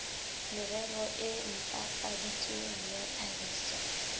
merero e ntlafaditsweng ya tlhahiso